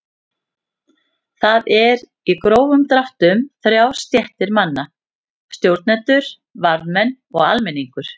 Þar eru í grófum dráttum þrjár stéttir manna: Stjórnendur, varðmenn og almenningur.